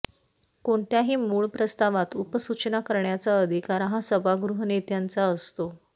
कोणत्याही मुळ प्रस्तावात उपसूचना करण्याचा अधिकार हा सभागृहनेत्यांचा असतो